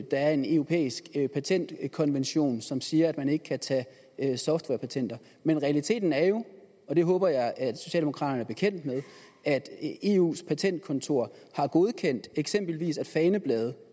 der er en europæisk patentkonvention som siger at man ikke kan tage softwarepatenter men realiteten er jo og det håber jeg at socialdemokraterne er bekendt med at eus patentkontor har godkendt at eksempelvis faneblade